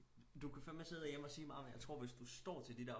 Du kan fandme sidde hjemme og sige meget men jeg tro hvis du står til de der